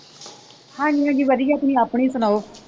ਹਾਂਜੀ ਹਾਂਜੀ ਵਧੀਆ ਤੁਸੀ ਆਪਣੀ ਸੁਣਾਓ?